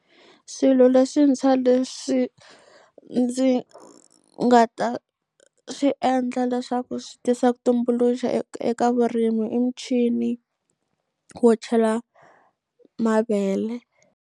Swilo leswintshwa leswi ndzi nga ta swi endla leswaku swi tisa ku tumbuluxa eka vurimi i muchini wo chela mavele.